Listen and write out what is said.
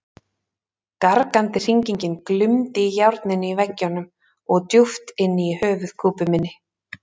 Gargandi hringingin glumdi í járninu í veggjunum og djúpt inni í höfuðkúpu minni.